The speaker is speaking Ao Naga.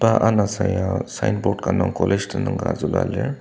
iba anasaya signboard ka nung college tenüng ka zülua lir.